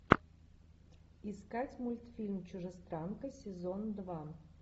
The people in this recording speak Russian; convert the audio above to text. искать мультфильм чужестранка сезон два